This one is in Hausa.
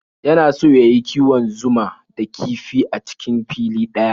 Yana so ya yi kiwon zuma da kifi a cikin fili ɗaya.